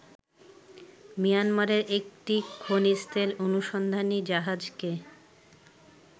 মিয়ানমারের একটি খনিজতেল অনুসন্ধানী জাহাজকে